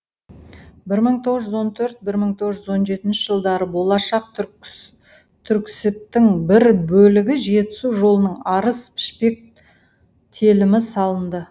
бір мың тоғызжүз он төрт бір мың тоғыз жүз он жеті жылдары болашақ түрксібтің бір бөлігі жетісу жолының арыс пішпек телімі салынды